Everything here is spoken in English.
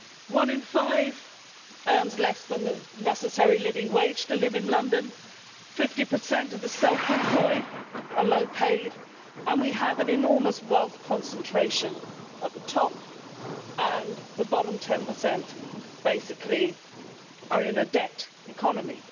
One in five earns less than the necessary living wage to live in London, 50 of the self employed are low paid, we have an enormous wealth concentration at the top, and the bottom 10 are basically in a debt economy.